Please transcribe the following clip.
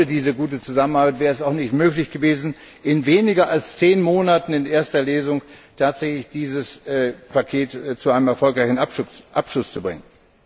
Und ohne diese gute Zusammenarbeit wäre es auch nicht möglich gewesen, in weniger als zehn Monaten in erster Lesung tatsächlich dieses Paket zu einem erfolgreichen Abschluss zu bringen.